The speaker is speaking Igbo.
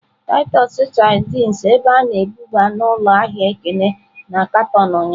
Titus sardines ebe a na-ebuba n'ụlọ ahịa Ekene na katọn ụnyahụ.